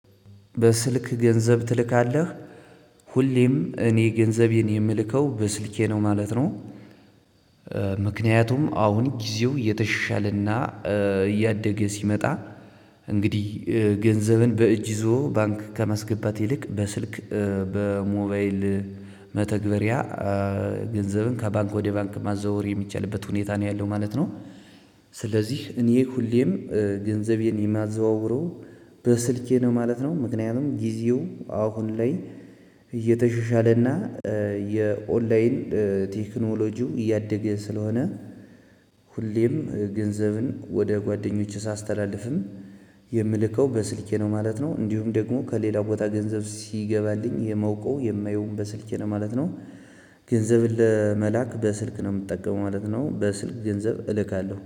በስልክ ገንዘብ ትልካለህ ሁሌም እኔ ገንዘቤን የምልከው በስልኬ ነው ማለት ነው። ምክንያቱም አሁን ጊዜው የተሻለና እያደገ ሲመጣ እንግዲህ ገንዘብን በእጅ ይዞ ባንክ ከመስገባት ይልቅ በስልክ በሞባይል መተግበሪያ ገንዘብን ከባንክ ወደ ባንክ ማዘዋወር የሚቻልበት ሁኔታ ነው ያለው ማለት ነው። ስለዚህ እኔ ሁሌም ገንዘቤን የማዘዋውረው በስልኬ ነው ማለት ነው ምክንያቱም ጊዜው አሁን ላይ እየተሾሻለና የኦንላይን ቴክኖሎጂው እያደገ ስለሆነ። ሁሌም ገንዘብን ወደ ጓደኞቼ ሳስተላልፍም የምልከው በስልኬ ነው ማለት ነው። እንዲሁም ደግሞ ከሌላው ቦታ ገንዘብ ሲገባልኝ የማውቀው የማየውም በስልኬ ነው ማለት ነው። ገንዘብን ለመላክ በስልክ ነው የምጠቀመው ማለት ነው። በስልክ ገንዘብ እልካለሁ